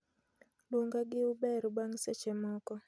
luonga gi uber bang' seche moko